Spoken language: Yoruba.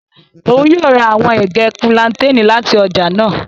Oun yoo ra awọn ege plantain lati ọja naa.